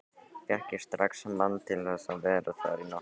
Fékk ég strax mann til að vera þar í nótt.